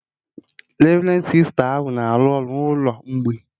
Revrendi Sista ahụ na-arụ ọrụ na ụkọ mgbei